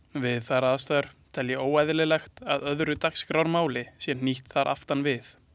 Við þær aðstæður tel ég óeðlilegt að öðru dagskrármáli sé hnýtt þar aftan við.